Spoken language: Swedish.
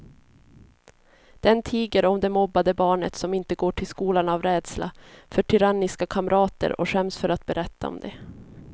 Den tiger om det mobbade barnet som inte går till skolan av rädsla för tyranniska kamrater och skäms för att berätta om det.